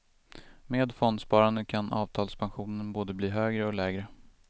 Med fondsparande kan avtalspensionen både bli högre och lägre.